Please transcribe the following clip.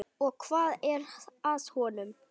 Og hvað er að honum?